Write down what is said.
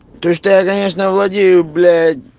то что я конечно владею блять